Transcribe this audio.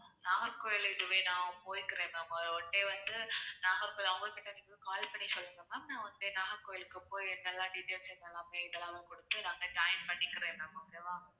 நாகர்கோவில் இதுவே நான் போய்க்கிறேன் ma'am one day வந்து நாகர்கோவில் அவங்க கிட்ட நீங்க call பண்ணி சொல்லுங்க ma'am நான் வந்து நாகர்கோவிலுக்கு என்னெல்லாம் details எல்லாமே இதெல்லாவும் கொடுத்து நான் அங்க joiin பண்ணிக்கிறேன் ma'am okay வா